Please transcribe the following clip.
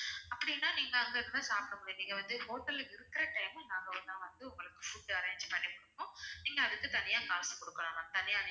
அப்படின்னா நீங்க அங்க இருந்து தான் சாப்பிட முடியும் நீங்க வந்து hotel ல இருக்கிற time நாங்க வேணா வந்து உங்களுக்கு food arrange பண்ணி குடுப்போம் நீங்க அதுக்கு தனியா காசு குடுக்கணும் ma'am தனியா